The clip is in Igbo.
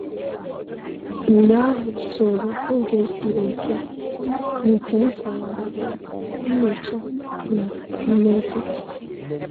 Mgbe ahụ soro oge siri ike nke nsụgharị, nyocha, na mmezi.